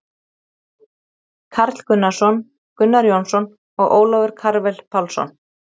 Karl Gunnarsson, Gunnar Jónsson og Ólafur Karvel Pálsson.